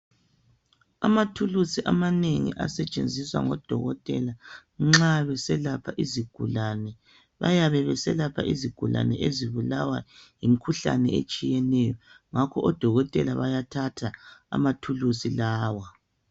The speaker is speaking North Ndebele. Amathulusi amanengi asetshenziswa ngodokotela nxa beselapha izigulani. bayabe beselapha izigulani ezibulawa yimikhuhlane etshiyeneyo ngakho odokotela bayathatha amathulusi lawa.